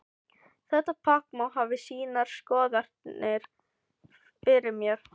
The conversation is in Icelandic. Þetta pakk má hafa sínar skoðanir fyrir mér.